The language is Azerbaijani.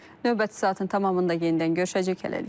Növbəti saatın tamamında yenidən görüşəcəyik, hələlik.